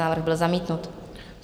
Návrh byl zamítnut.